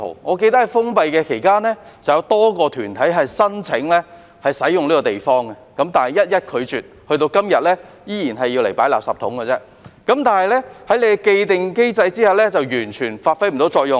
我記得在封閉期間，曾有多個團體申請使用這個地方，但被一一拒絕，至今仍然只是用來存放垃圾桶，在既定機制下完全不能發揮作用。